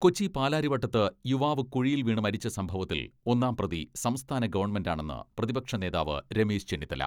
കൊച്ചി പാലാരിവട്ടത്ത് യുവാവ് കുഴിയിൽ വീണ് മരിച്ച സംഭവത്തിൽ ഒന്നാം പ്രതി സംസ്ഥാന ഗവൺമെന്റാണെന്ന് പ്രതിപക്ഷ നേതാവ് രമേശ് ചെന്നിത്തല.